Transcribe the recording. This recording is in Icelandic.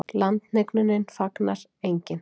Landhnignunni fagnar enginn.